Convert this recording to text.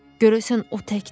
Görəsən o təkdir?